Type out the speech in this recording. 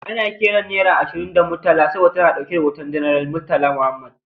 Ana kiran naira ashirin da Murtala saboda ta na dauke da hoton Janar Murtala Mohammed.